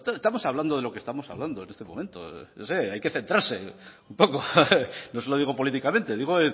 estamos hablando de lo que estamos hablando en este momento no sé hay que centrarse un poco no se lo digo políticamente digo